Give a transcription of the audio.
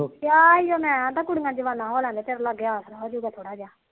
ਕਿਹਾ ਸੀ ਮੈ